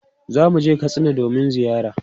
Za mu je Katsina domin ziyara.